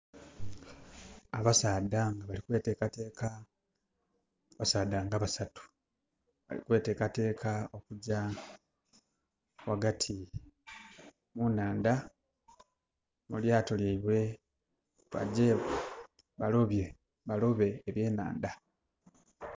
Abasaadha bali kwetekateka, abasaadha nga basatu bali kwetekateka okugya wagati mu naandha mulyaato lyaibwe bajje balobe ebyenaandha.